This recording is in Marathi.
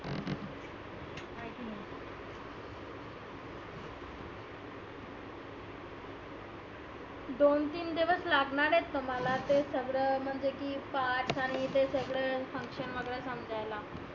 दोन तीन दिवस लागनार आहेत तुम्हाला ते सगळ म्हणजे की parts आणि ते सगळ function वगैरे समजायला.